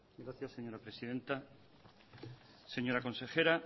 gracias señora presidenta señora consejera